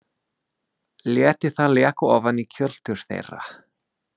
Léti það leka ofan í kjöltur þeirra.